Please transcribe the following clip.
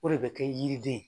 O de bɛ kɛ yiriden ye.